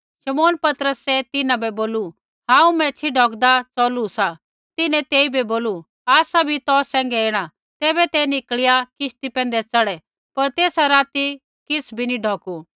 शमौन पतरसै तिन्हां बै बोलू हांऊँ मैच्छ़ी डौकदा चौलू सा तिन्हैं तेइबै बोलू आसा भी तौ सैंघै ऐणा तैबै ते निकल़िया किश्ती पैंधै चढ़ै पर तेसा राती किछ़ भी नी ढौकु